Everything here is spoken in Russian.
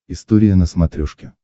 история на смотрешке